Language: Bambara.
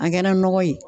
A kɛra nɔgɔ ye